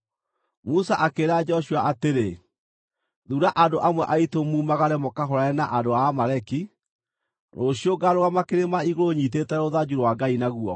Musa akĩĩra Joshua atĩrĩ, “Thuura andũ amwe aitũ mumagare mũkahũũrane na andũ a Amaleki. Rũciũ ngaarũgama kĩrĩma igũrũ nyiitĩte rũthanju rwa Ngai na guoko.”